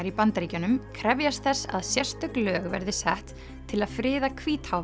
í Bandaríkjunum krefjast þess að sérstök lög verði sett til að friða